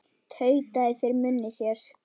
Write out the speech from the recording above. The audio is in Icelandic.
Tautaði fyrir munni sér.